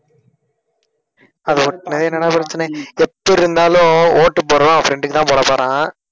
அது பிரச்சனை எப்பிடிருந்தாலும் ஓட்டுப்போடறவன் அவன் friend க்கு தான் போடப்போறான்